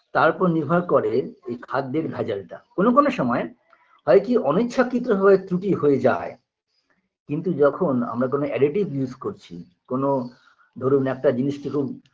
তার ওপর নির্ভর করে এই খাদ্যের ভেজালটা কোনো কোনো সময় হয়কি অনিচ্ছাকৃতভাবে ত্রুটি হয়ে যায় কিন্তু যখন আমরা কোনো additive use করছি কোনো ধরুন একটা জিনিসকে খুব